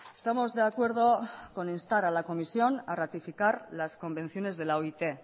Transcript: estamos de acuerdo con instar a la comisión a ratificar las convenciones de la oit